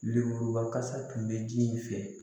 Lemuruba kasa tun bɛ ji in fɛ